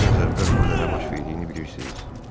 Siz biraz əvvəl burda nə baş verdiyini bilirsiz?